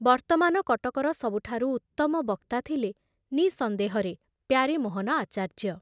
ବର୍ତ୍ତମାନ କଟକର ସବୁଠାରୁ ଉତ୍ତମ ବକ୍ତା ଥିଲେ ନିଃସନ୍ଦେହରେ ପ୍ୟାରୀମୋହନ ଆଚାର୍ଯ୍ୟ।